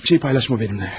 Heç bir şey paylaşma mənimlə.